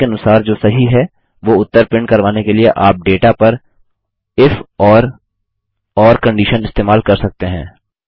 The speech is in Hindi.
कंडिशन के अनुसार जो सही है वो उत्तर प्रिंट करवाने के लिए आप डेटा पर इफ और ओर कंडिशन इस्तेमाल कर सकते हैं